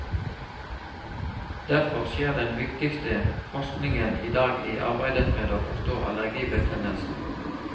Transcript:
Derfor skjer den viktigste forskningen i dag i arbeidet med å forstå allergibetennelsen.